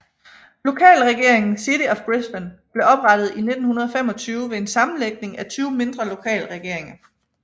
Lokalregeringen City of Brisbane blev oprettet i 1925 ved en sammenlægning af 20 mindre lokalregeringer